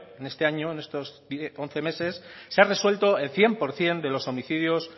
en este año en estos once meses se ha resuelto el cien por ciento de los homicidios